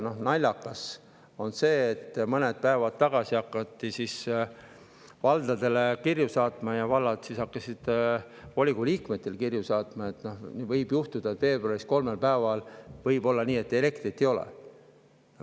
Naljakas on see, et mõned päevad tagasi hakati valdadele saatma kirju ja vallad hakkasid siis volikogu liikmetele saatma kirju, et võib juhtuda, et veebruaris kolmel päeval elektrit ei ole.